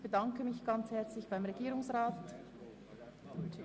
Ich bedanke mich ganz herzlich bei Herrn Regierungsrat Käser.